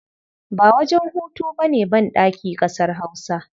Ba wajen hutu ba ne banɗaki ƙasar Hausa.